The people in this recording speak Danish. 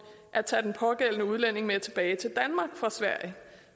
at tage den pågældende udlænding med tilbage til danmark fra sverige